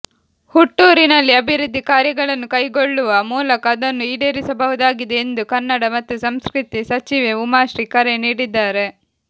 ಹುಟ್ಟೂರಿನಲ್ಲಿ ಅಭಿವೃದ್ಧಿ ಕಾರ್ಯಗಳನ್ನು ಕೈಗೊಳ್ಳುವ ಮೂಲಕ ಅದನ್ನು ಈಡೇರಿಸಬಹುದಾಗಿದೆ ಎಂದು ಕನ್ನಡ ಮತ್ತು ಸಂಸ್ಕೃತಿ ಸಚಿವೆ ಉಮಾಶ್ರೀ ಕರೆ ನೀಡಿದ್ದಾರೆ